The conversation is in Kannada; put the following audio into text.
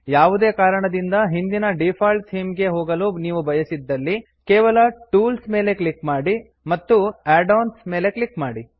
ಯಾವುದೇ ಕಾರಣದಿಂದ ಹಿಂದಿನ ಡಿಫಾಲ್ಟ್ ಥೀಮ್ ಗೆ ಹೋಗಲು ನೀವು ಬಯಸಿದ್ದಲ್ಲಿ ಕೇವಲ ಟೂಲ್ಸ್ ಟೂಲ್ಸ್ ಮೇಲೆ ಕ್ಲಿಕ್ ಮಾಡಿ ಮತ್ತು ನಂತರ add ಒಎನ್ಎಸ್ ಆಡ್ ಆನ್ಸ್ ಮೇಲೆ ಕ್ಲಿಕ್ ಮಾಡಿ